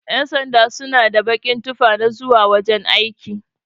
Ƴan sanda suna da bakin tufa na zauwa wajan aiki.